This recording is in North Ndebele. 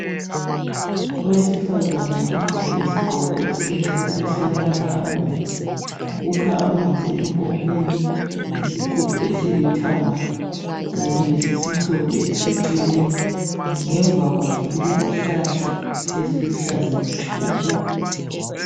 Owesifazane ogqoke isigqoko esimhlophe esilamabala abomvu ukha amanzi empompini ngesigubhu esilithanga Kanye lesisimhlophe esiseceleni ngemva kwakhe kulezihlahla eziluhlaza Tshoko